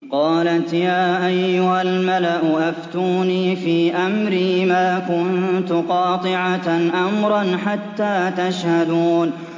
قَالَتْ يَا أَيُّهَا الْمَلَأُ أَفْتُونِي فِي أَمْرِي مَا كُنتُ قَاطِعَةً أَمْرًا حَتَّىٰ تَشْهَدُونِ